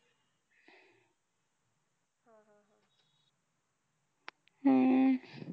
हम्म